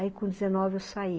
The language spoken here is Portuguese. Aí com dezenove eu saí.